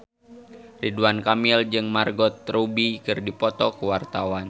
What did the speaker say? Ridwan Kamil jeung Margot Robbie keur dipoto ku wartawan